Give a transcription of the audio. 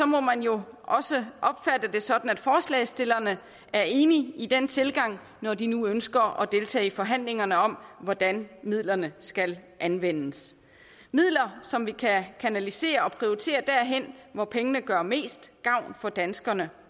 må man jo også opfatte det sådan at forslagsstillerne er enige i den tilgang når de nu ønsker at deltage i forhandlingerne om hvordan midlerne skal anvendes midler som vi kan kanalisere og prioritere derhen hvor pengene gør mest gavn for danskerne